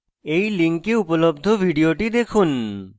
এই link উপলব্ধ video দেখুন